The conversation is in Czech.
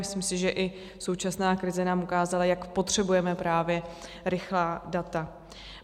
Myslím si, že i současná krize nám ukázala, jak potřebujeme právě rychlá data.